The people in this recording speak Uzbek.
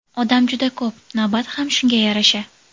Odam juda ko‘p, navbat ham shunga yarasha.